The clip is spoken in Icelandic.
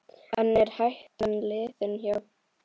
En er hættan liðin hjá?